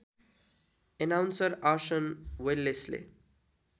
announcer Arson Wellesley